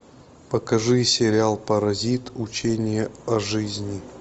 покажи сериал паразит учение о жизни